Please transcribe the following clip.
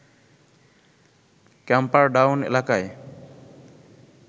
Camperdown এলাকায়